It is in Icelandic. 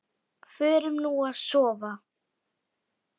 Förum nú að sofa.